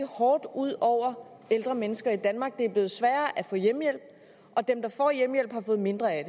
hårdt ud over ældre mennesker i danmark det er blevet sværere at få hjemmehjælp og dem der får hjemmehjælp har fået mindre af